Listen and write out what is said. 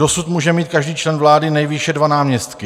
Dosud může mít každý člen vlády nejvýše dva náměstky.